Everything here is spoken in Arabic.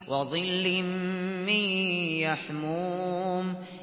وَظِلٍّ مِّن يَحْمُومٍ